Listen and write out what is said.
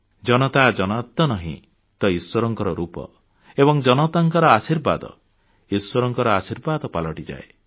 ଜନତା ଜନାର୍ଦ୍ଦନ ହିଁ ତ ଇଶ୍ୱରଙ୍କ ରୂପ ଏବଂ ଜନତାଙ୍କ ଆଶୀର୍ବାଦ ଇଶ୍ୱରଙ୍କ ଆଶୀର୍ବାଦ ପାଲଟିଯାଏ